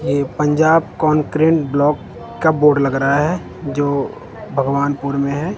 ये Punjab concurrent block का board लग रहा है जो भगवानपुर में है।